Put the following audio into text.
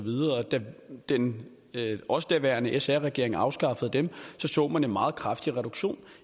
videre da den også daværende sr regering afskaffede dem så man en meget kraftig reduktion